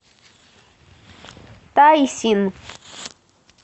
тайсин